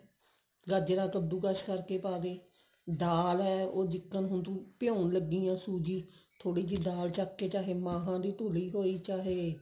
ਗਾਜਰਾਂ ਕੱਦੂ ਕਾਸ ਕਰਕੇ ਪਾ ਦੇ ਦਾਲ ਹੈ ਉਹ ਜਿੱਕ੍ਨ ਹੁਣ ਤੂੰ ਭਿਉਂਣ ਲੱਗੀ ਹੈ ਸੂਜੀ ਥੋੜੀ ਜੀ ਦਾਲ ਚੱਕ ਕੇ ਚਾਹੇ ਮਹਾਂ ਦੀ ਧੁਲੀ ਹੋਈ ਚਾਹੇ